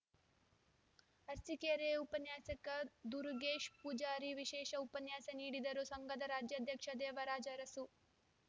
ಅರಸಿಕೆರೆ ಉಪನ್ಯಾಸಕ ದುರುಗೇಶ್‌ ಪೂಜಾರಿ ವಿಶೇಷ ಉಪನ್ಯಾಸ ನೀಡಿದರು ಸಂಘದ ರಾಜ್ಯಾಧ್ಯಕ್ಷ ದೇವರಾಜ್‌ ಅರಸು